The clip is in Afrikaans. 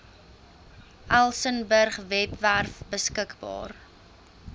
elsenburg webwerf beskikbaar